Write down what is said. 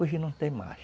Hoje não tem mais.